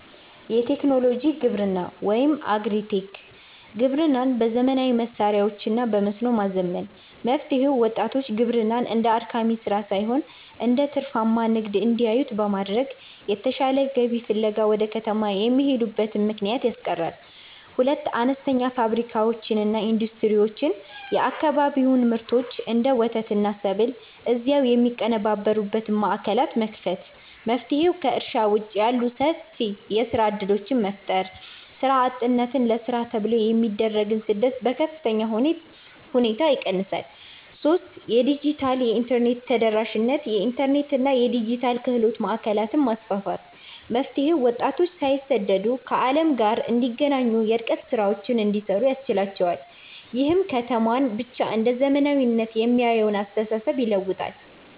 1. የቴክኖሎጂ ግብርና (Agri-Tech) ግብርናን በዘመናዊ መሣሪያዎችና በመስኖ ማዘመን። መፍትሔው፦ ወጣቶች ግብርናን እንደ አድካሚ ሥራ ሳይሆን እንደ ትርፋማ ንግድ እንዲያዩት በማድረግ፣ የተሻለ ገቢ ፍለጋ ወደ ከተማ የሚሄዱበትን ምክንያት ያስቀራል። 2. አነስተኛ ፋብሪካዎችና ኢንዱስትሪዎች የአካባቢውን ምርቶች (እንደ ወተትና ሰብል) እዚያው የሚያቀነባብሩ ማዕከላትን መክፈት። መፍትሔው፦ ከእርሻ ውጭ ያሉ ሰፊ የሥራ ዕድሎችን በመፍጠር፣ ሥራ አጥነትንና ለሥራ ተብሎ የሚደረግን ስደት በከፍተኛ ሁኔታ ይቀንሳል። 3. የዲጂታልና የኢንተርኔት ተደራሽነት የኢንተርኔትና የዲጂታል ክህሎት ማዕከላትን ማስፋፋት። መፍትሔው፦ ወጣቶች ሳይሰደዱ ከዓለም ጋር እንዲገናኙና የርቀት ሥራዎችን እንዲሠሩ ያስችላቸዋል። ይህም ከተማን ብቻ እንደ "ዘመናዊነት" የሚያየውን አስተሳሰብ ይለውጣል።